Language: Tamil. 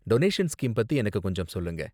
டொனேஷன் ஸ்கீம் பத்தி எனக்கு கொஞ்சம் சொல்லுங்க.